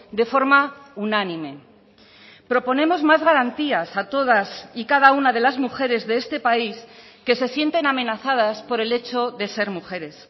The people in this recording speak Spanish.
de forma unánime proponemos más garantías a todas y cada una de las mujeres de este país que se sienten amenazadas por el hecho de ser mujeres